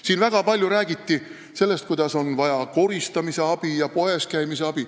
Siin räägiti väga palju sellest, et on vaja abi koristamisel ja poeskäimisel.